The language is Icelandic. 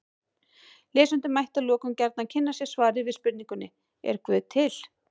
Lesendur mættu að lokum gjarnan kynna sér svarið við spurningunni Er guð til?